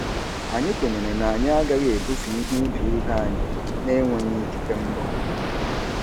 Anyị kwenyere na anyị agaghị ebufe ihe ibe ibe anyị na-enweghị ikike mbụ.